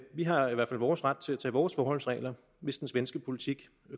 vi har i hvert fald vores ret til at tage vores forholdsregler hvis den svenske politik